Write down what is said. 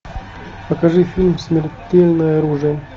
покажи фильм смертельное оружие